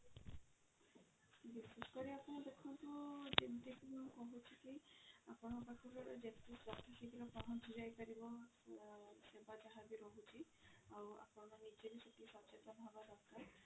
ବିଶେଷ କରି ଆପଣ ଦେଖନ୍ତୁ ଯେମିତି କି ମୁଁ କହୁଛି କି ଆପଣଙ୍କ ପାଖରେ ଯେତେ ଯଥା ଶୀଘ୍ର ପହଞ୍ଚି ଯାଇ ପାରିବ ସେବା ଯାହା ବି ରହୁଛି ଆଉ ଆପଣ ନିଜେ ବି ଟିକେ ସଚେତନ ହେବ ଦରକାର